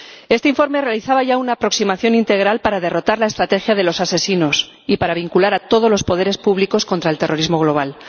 Este informe realizaba ya una aproximación integral para derrotar la estrategia de los asesinos y para vincular a todos los poderes públicos contra el terrorismo global.